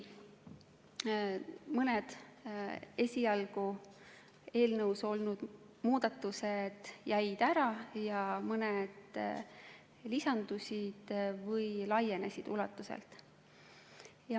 Mõni esialgu eelnõus olnud muudatus jäi ära ja mõn lisandusid või laienes.